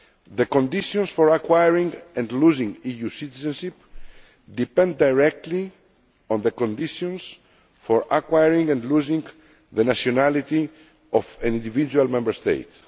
The conditions for acquiring and losing EU citizenship depend directly on the conditions for acquiring and losing the nationality of an individual Member State.